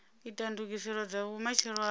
ita ndugiselo dza vhumatshelo hayo